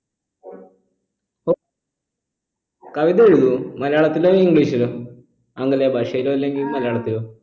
പൊ കവിത എഴുതുവോ മലയാളത്തിലോ english ലോ ആംഗലേയ ഭാഷയിലോ അല്ലെങ്കിൽ മലയാളത്തിലോ